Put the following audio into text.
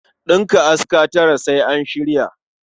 Ɗinka aska tara sai an shirya.